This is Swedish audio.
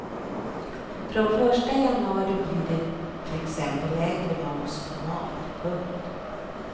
Från första januari blir det till exempel lägre moms på mat. punkt